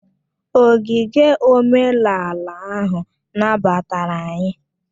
Ogige omenala ahụ nabatara anyị